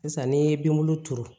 Sisan n'i ye binbulu turu